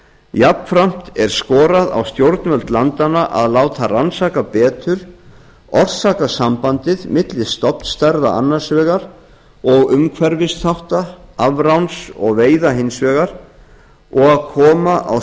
jafnframt er skorað á stjórnvöld landanna að láta rannsaka betur orsakasambandið milli stofnstærða annars vegar og umhverfisþátta afráns og veiða hins vegar og að koma á